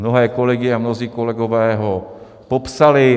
Mnohé kolegyně a mnozí kolegové ho popsali.